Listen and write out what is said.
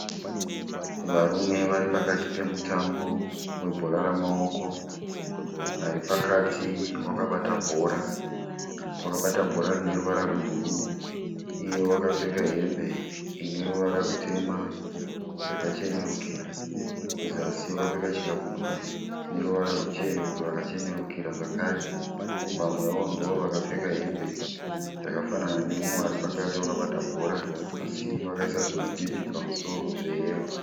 Varume vari pakati pemutambo webhora ramaoko, ari pakati wakabata bhora rine ruvara rwebhuruu iye wakapfeka hembe ine ruvara rutema yakachenurukira kuzasi wakapfeka chikabudura chine ruvara rwakachenurukira zvakare, vamwewo ndivo vakapfeka hembe dzakafanana neumwe ari pakati wakabata bhora asi vakaisa zvimabhibhi pamusoro zveyero.